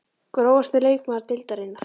Grófasti leikmaður deildarinnar?????